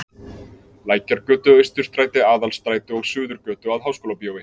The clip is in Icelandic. Lækjargötu, Austurstræti, Aðalstræti og Suðurgötu að Háskólabíói.